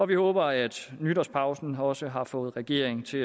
vi håber at nytårspausen også har fået regeringen til